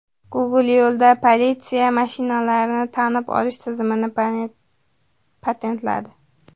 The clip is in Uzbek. Google yo‘lda politsiya mashinalarini tanib olish tizimini patentladi.